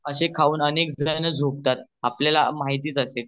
अशी खाऊणच अनेक जन झोपतात म्हणजेच आपल्याला माहितीच असेल